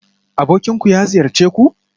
Abokinku ya ziyarce ku?